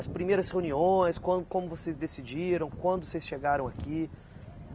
As primeiras reuniões, quan como vocês decidiram, quando vocês chegaram aqui.